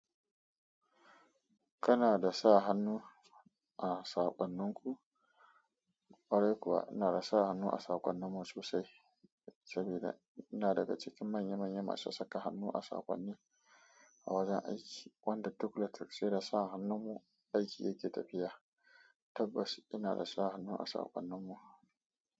Kana da sa hannu a saƙonninku? Kwarai kuwa ina da sa hannu a saƙonninmu sosai saboda ina daga cikin manya manya masu saka hannu a saƙonni a wajen aiki wanda duk lokaci da sa hannunmu aiki yake tafiya. Tabbas ina da sa hannu a saƙonninmu.